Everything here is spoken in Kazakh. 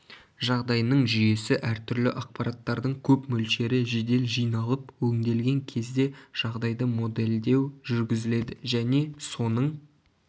жағдайының жүйесі әртүрлі ақпараттардың көп мөлшері жедел жиналып өңделген кезде жағдайды моделдеу жүргізіледі және соның